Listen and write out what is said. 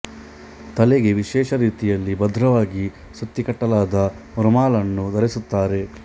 ತಲೆಗೆ ವಿಶೇಷ ರೀತಿಯಲ್ಲಿ ಭದ್ರವಾಗಿ ಸುತ್ತಿ ಕಟ್ಟಲಾದ ರುಮಾಲನ್ನು ಧರಿಸುತ್ತಾರೆ